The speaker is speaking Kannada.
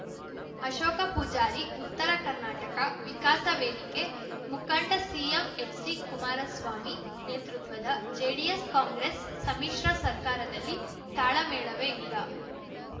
ಅಶೋಕ ಪೂಜಾರಿ ಉತ್ತರ ಕರ್ನಾಟಕ ವಿಕಾಸ ವೇದಿಕೆ ಮುಖಂಡ ಸಿಎಂ ಎಚ್‌ಡಿಕುಮಾರಸ್ವಾಮಿ ನೇತೃತ್ವದ ಜೆಡಿಎಸ್‌ ಕಾಂಗ್ರೆಸ್‌ ಸಮ್ಮಿಶ್ರ ಸರ್ಕಾರದಲ್ಲಿ ತಾಳಮೇಳವೇ ಇಲ್ಲ